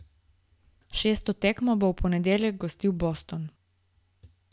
Šesto tekmo bo v ponedeljek gostil Boston.